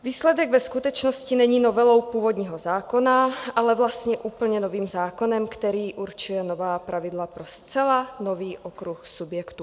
Výsledek ve skutečnosti není novelou původního zákona, ale vlastně úplně novým zákonem, který určil nová pravidla pro zcela nový okruh subjektů.